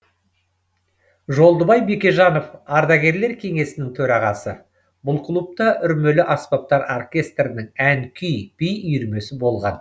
жолдыбай бекежанов ардагерлер кеңесінің төрағасы бұл клубта үрмелі аспаптар оркестрінің ән күй би үйірмесі болған